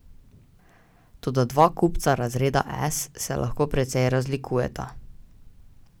Toda dva kupca razreda S se lahko precej razlikujeta.